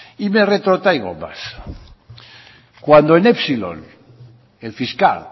y me retrotraigo más cuando en epsilon el fiscal